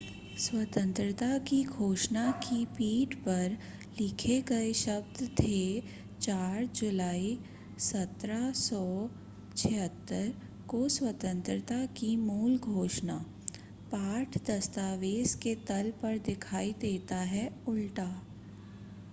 स्वतंत्रता की घोषणा की पीठ पर लिखे गए शब्द थे 4 जुलाई 1776 को स्वतंत्रता की मूल घोषणा पाठ दस्तावेज़ के तल पर दिखाई देता है उल्टा